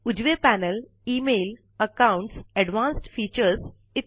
उजवे panel email accounts advanced features इ